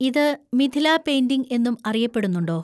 ഇത് മിഥില പെയിന്‍റിംഗ് എന്നും അറിയപ്പെടുന്നുണ്ടോ?